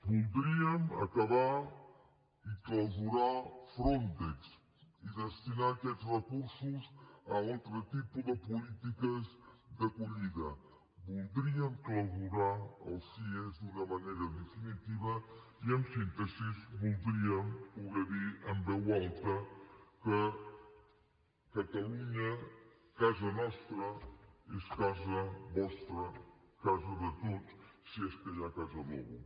voldríem acabar i clausurar frontex i destinar aquests recursos a altres tipus de polítiques d’acollida voldríem clausurar els cie d’una manera definitiva i en síntesi voldríem poder dir en veu alta que catalunya casa nostra és casa vostra casa de tots si és que hi ha casa d’algú